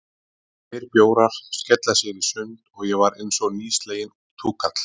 Tveir bjórar, skella sér í sund, og ég var einsog nýsleginn túkall.